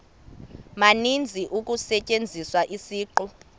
maninzi kusetyenziswa isiqu